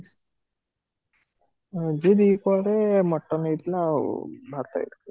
ଆଜି ଦିହିପରେ mutton ଆଉ ଭାତ ହେଇଥିଲା